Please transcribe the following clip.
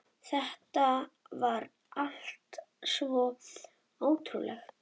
Þetta var allt svo ótrúlegt.